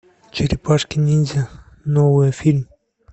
черепашки ниндзя новый фильм